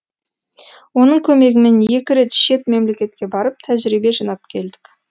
оның көмегімен екі рет шет мемлекетке барып тәжірибе жинап келдік